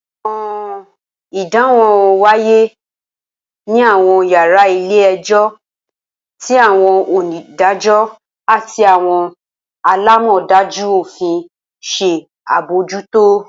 Awọn idanwo waye ni awọn yara ile-ẹjọ, ti awọn onidajọ ati awọn alamọdaju ofin ṣe abojuto.